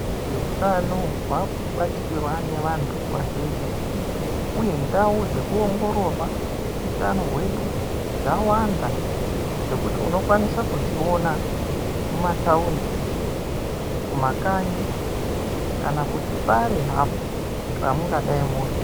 Utano hwakubatikirwa nevantu vazhinji uye ndau dzekuongororwa utano hwedu dzawanda dzekuti unokwanisa kudziona mumataundi, kumakanyi kana kuti pari hapo pamungadai muri.